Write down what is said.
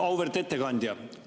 Auväärt ettekandja!